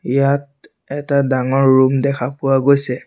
ইয়াত এটা ডাঙৰ ৰুম দেখা পোৱা গৈছে।